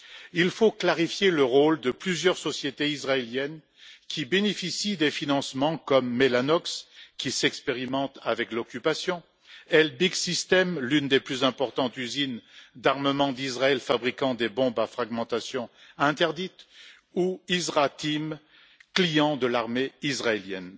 Il faut clarifier le rôle de plusieurs sociétés israéliennes qui bénéficient des financements, comme Mellanox, qui expérimente avec l'occupation, Elbit Systems, l'une des plus importantes usines d'armement d'Israël fabriquant des bombes à fragmentation interdites, ou IsraTeam, client de l'armée israélienne.